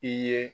I ye